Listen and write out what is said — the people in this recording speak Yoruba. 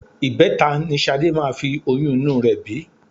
Ìbẹta ni Ṣadé máa fi oyún inú rẹ bí